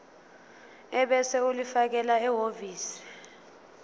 ebese ulifakela ehhovisi